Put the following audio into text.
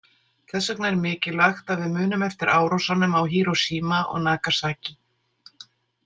Þess vegna er mikilvægt að við munum eftir árásunum á Hiroshima og Nagasaki.